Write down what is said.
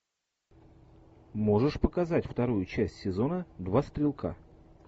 можешь показать вторую часть сезона два стрелка